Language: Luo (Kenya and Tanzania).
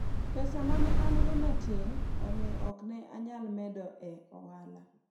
pesa mane an go ne tin omiyo ok ne anyal medo e ohala